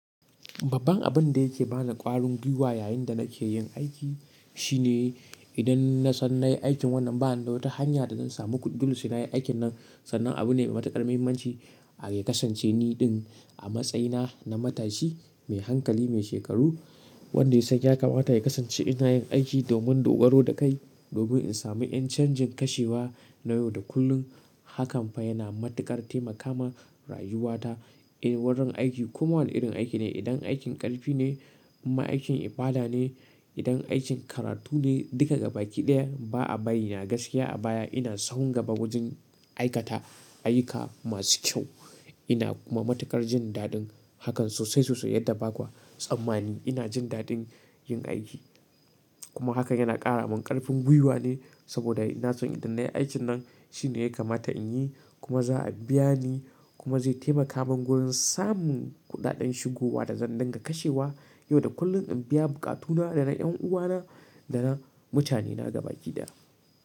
Babban abun da yake bani ƙwarin gwiwa yayin da nake yin aiki shine idan na san na yi aikin wannan ba ni da wata hanya da zan samu kudi dole sai na yi aikin nan sannan abu ne matukar muhimmanci a ya kasance niɗin a matsayina na matashi mai hankali mai shekaru wanda ya san ya kamata ya kasance ina yin aiki domin dogaro da kai domin in sami ƴan canjin kashewa na yau da kullum hakan fa yana matuƙar taimaka ma rayuwata a wurin aiki kuma wane irin aiki ne idan aikin ƙarfi ne in ma aikin ibada ne idan aikin karatu ne, duka gabaki daya ba'a bari na gaskiya a baya ina sahun gaba wajen aikata ayyuka masu kyau ina kuma matukar jin dadin hakan sosai sosai yadda baku tsammani ina jin dadin yin aiki, kuma hakan yana kara mun karfin guiwa ne saboda ina son idan na yi aikin nan shine ya kamata in yi kuma za a biya ni kuma zai taimaka min wurin samun kuɗaɗen shigowa da zan dinga kashewa yau da kullum in biya buƙatuna da na ƴan uwana da na mutane na gabaƙi daya.